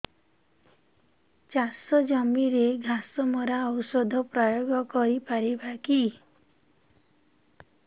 ଚାଷ ଜମିରେ ଘାସ ମରା ଔଷଧ ପ୍ରୟୋଗ କରି ପାରିବା କି